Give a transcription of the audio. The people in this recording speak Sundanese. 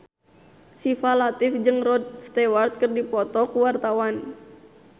Syifa Latief jeung Rod Stewart keur dipoto ku wartawan